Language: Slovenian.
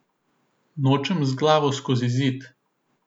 Nočem z glavo skozi zid.